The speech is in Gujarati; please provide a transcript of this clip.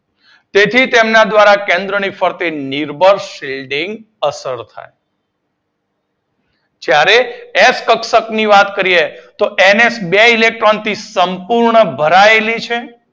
તેથી તેમના દ્વારા કેન્દ્રના ફરતે નિર્બળ સિલ્ડિંગ અસર થાય. જ્યારે એફ કક્ષક ની વાત કરીએ ત્યારે એન એચ બે ઇલેક્ટ્રોન થી સંપૂર્ણ ભરાયેલી છે.